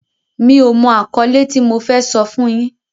Mi ò mọ àkọ́lé tí mo fẹ́ sọ fún yín.